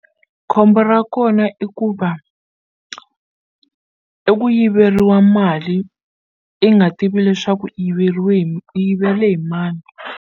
Khombo ra kona i ku va i ku yiveriwa mali i nga tivi leswaku i yiveriwile hi i yivele hi mani.